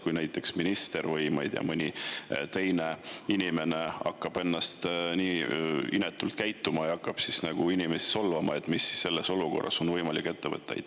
Kui näiteks minister või, ma ei tea, mõni teine inimene hakkab inetult käituma ja inimesi solvama, siis mida on võimalik sellises olukorras ette võtta?